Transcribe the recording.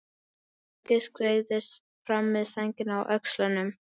Helgi skreiðist fram með sængina á öxlunum.